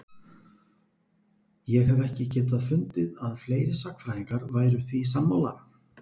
Ég hef ekki getað fundið að fleiri sagnfræðingar væru því sammála?